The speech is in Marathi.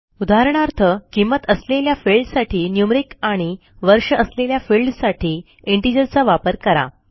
उदाहरणार्थ किंमत असलेल्या फिल्डसाठी न्यूमेरिक आणि वर्ष असलेल्या फिल्डसाठी integerचा वापर करा